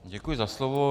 Děkuji za slovo.